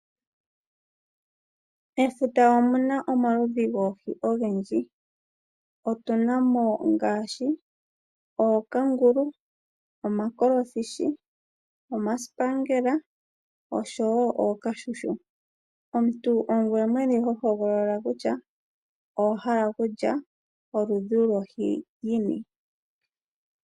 Efuta omuna omaludhi goohi ogendji. Otuna mo ngaashi, ookangulu, omakolofishi, omasipangela osho wo ookashushu. Omuntu ongoye mwene ho hogolola kutya owahala okulya oludhi lohi yini.